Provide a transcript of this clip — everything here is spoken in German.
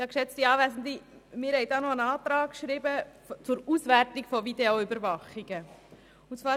Wir haben einen Antrag zur Auswertung von Videoüberwachungen gestellt.